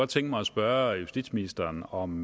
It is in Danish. tænke mig at spørge justitsministeren om